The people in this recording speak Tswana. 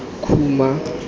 khuma